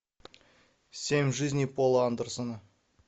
семь жизней пола андерсона